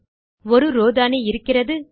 1 row தானே இருக்கிறது